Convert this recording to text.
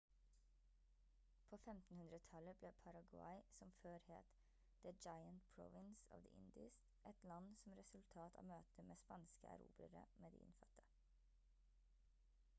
på 1500-tallet ble paraguay som før het «the giant provins of the indies» et land som resultat av møtet med spanske erobrere med de innfødte